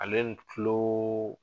Ale ni tuloo